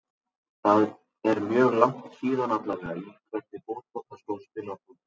Það er mjög langt síðan allavega Í hvernig fótboltaskóm spilar þú?